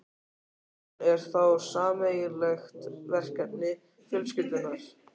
Hann er þá sameiginlegt verkefni fjölskyldunnar.